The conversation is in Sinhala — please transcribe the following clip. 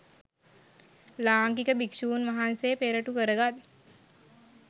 ලාංකික භික්ෂූන් වහන්සේ පෙරටු කරගත්